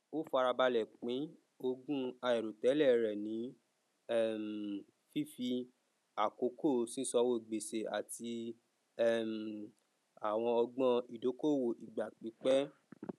ó fara balẹ pín ogún àìròtẹlẹ rẹ ní um fífi àkọkọ sísanwó gbèsè àti um àwọn ọgbọn ìdókòwò ìgbà pípẹ